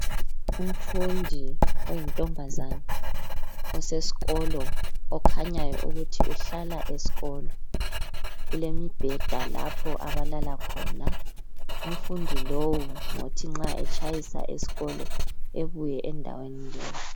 Umfundi oyintombazana okhanyayo ukuthi uhlala esikolo. Kulemibheda lapha ahlala khona. Umfundi lowu ngothi nxa etshayisa esikolo ebuye endaweni leyi.